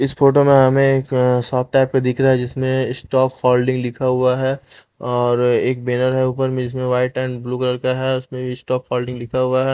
इस फोटो में हमें एक अअ सॉफ्ट टाइप पे दिख रहा है जिसमें स्टॉक फोल्डिंग लिखा हुआ है और एक बैनर है ऊपर में जिसमें वाइट एंड ब्लू कलर का है उसमें स्टॉक फोल्डिंग लिखा हुआ है।